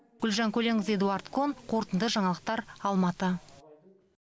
гүлжан көленқызы эдуард кон қорытынды жаңалықтар алматы